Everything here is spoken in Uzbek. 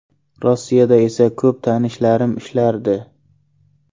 Rossiyada esa ko‘p tanishlarim ishlardi.